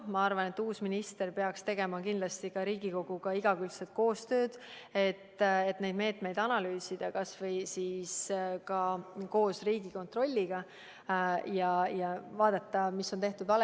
Ma arvan, et uus minister peaks kindlasti tegema Riigikoguga igakülgset koostööd, et neid meetmeid analüüsida kas või koos Riigikontrolliga ja vaadata, mis on tehtud valesti.